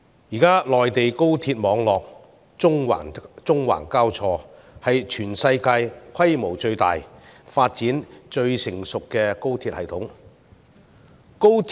現在內地高鐵網絡縱橫交錯，是全世界規模最大、發展最成熟的高鐵系統。